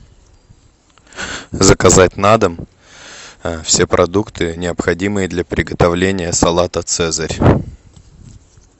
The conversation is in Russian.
заказать на дом все продукты необходимые для приготовления салата цезарь